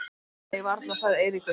Nei varla sagði Eiríkur.